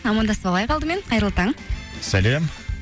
амандасып алайық алдымен қайырлы таң сәлем